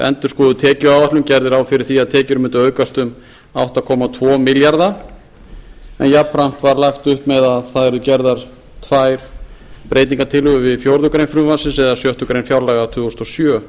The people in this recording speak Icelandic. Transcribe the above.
endurskoðuð tekjuáætlun gerði ráð fyrir því að tekjur mundu aukast um átta komma tvo milljarða en jafnframt var lagt upp með að það yrðu gerðar tvær breytingartillögur við fjórðu grein frumvarpsins eða sjöttu grein fjárlaga tvö þúsund og sjö